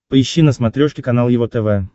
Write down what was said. поищи на смотрешке канал его тв